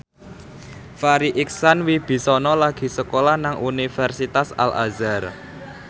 Farri Icksan Wibisana lagi sekolah nang Universitas Al Azhar